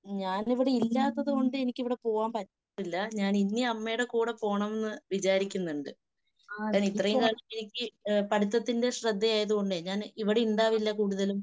ഞാൻ ഇവിടെ ഇല്ലാത്തതുകൊണ്ട് എനിക്കിവിടെ പോകാൻ പറ്റില്ല. ഞാൻ ഇനി അമ്മയുടെ കൂടെ പോണംന്ന് വിചാരിക്കുന്നുണ്ട്. ഞാൻ ഇത്രേം കാലത്തേക്ക് പഠിത്തത്തിന്റെ ശ്രദ്ധയായതുകൊണ്ടേ ഞാൻ ഇവിടെ ഉണ്ടാവില്ല കൂടുതലും